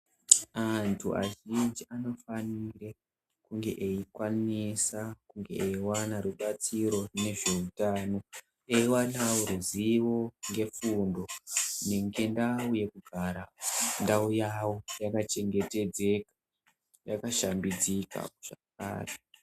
Antu azhinji anofanirwa kunge eyi kwanisa eyiwana rubatsiro ngezveutano nekuwana rubatsiro ngezveutano eyiwana wo ruzivo nefundo maringe nendau yavo yaka chengetedzeka yakashambidzika.